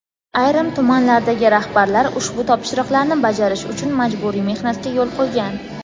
ayrim tumanlardagi rahbarlar ushbu topshiriqlarni bajarish uchun majburiy mehnatga yo‘l qo‘ygan.